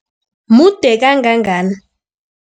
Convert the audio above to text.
Mude kangangani?